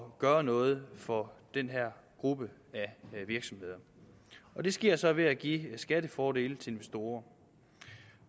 at gøre noget for den her gruppe af virksomheder det sker så ved at give skattefordele til investorer